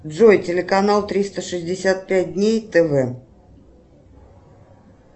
джой телеканал триста шестьдесят пять дней тв